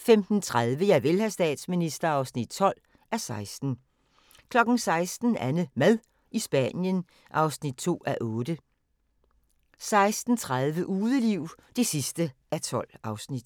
15:30: Javel, hr. statsminister (12:16) 16:00: AnneMad i Spanien (2:8) 16:30: Udeliv (12:12)